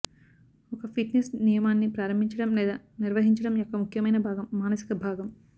ఒక ఫిట్నెస్ నియమాన్ని ప్రారంభించడం లేదా నిర్వహించడం యొక్క ముఖ్యమైన భాగం మానసిక భాగం